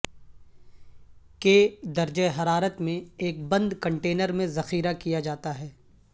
کے درجہ حرارت میں ایک بند کنٹینر میں ذخیرہ کیا جاتا ہے